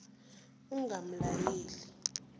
ugamalayeli